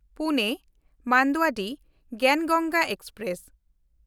ᱯᱩᱱᱮ–ᱢᱟᱱᱫᱩᱣᱟᱰᱤᱦ ᱜᱮᱭᱟᱱ ᱜᱚᱝᱜᱟ ᱮᱠᱥᱯᱨᱮᱥ